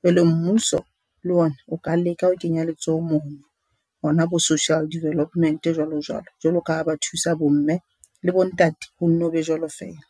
Jwale mmuso le ona o ka leka ho kenya letsoho mono hona bo Social Development jwalo jwalo. Jwalo ka ha ba thusa bo mme le bo ntate ho nno be jwalo feela.